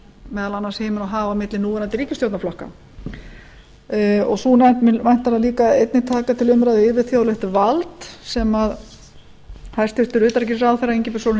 meðal annars himinn og haf milli núverandi ríkisstjórnarflokka sú nefnd mun væntanlega líka einnig taka til umræðu yfirþjóðlegt vald sem hæstvirtur utanríkisráðherra ingibjörg sólrún